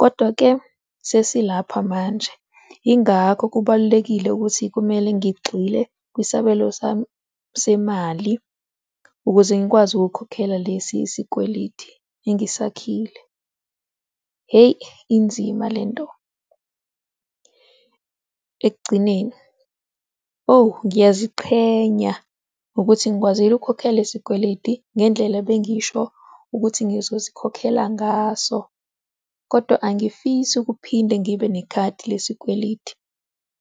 kodwa-ke sesilapha manje. Yingakho kubalulekile ukuthi kumele ngigxile kwisabelo sami semali ukuze ngikwazi ukukhokhela lesi isikweleti engisakhile. Hheyi, inzima lento. Ekugcineni, oh ngiyaziqhenya ukuthi ngikwazile ukhokhela lesikweleti ngendlela ebengisho ukuthi ngizosikhokhela ngaso, kodwa angifisi ukuphinde ngibe nekhadi lesikweleti.